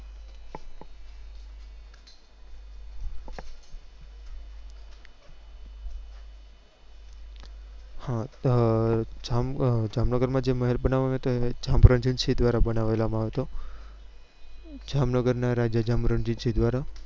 હા હમ જામનગર માં જે મહેલ બનવવા માં આવ્યો હતો એને જામ રુદ્ર સિહ દ્વારા એને બનવવા માં આવ્યો હતો જામનગર ના રાજા જામ રુદ્દ્ર સિંહ દ્વારા